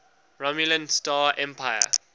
romulan star empire